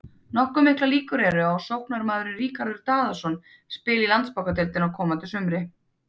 Nokkuð miklar líkur eru á að sóknarmaðurinn Ríkharður Daðason spili í Landsbankadeildinni á komandi sumri.